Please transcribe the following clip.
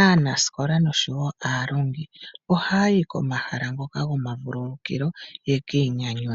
aanasikola osho wo aalongi ohaya yi komahala ngoka gomavululukilo yeki inyanyudhe.